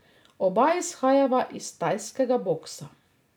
Oba izhajava iz tajskega boksa.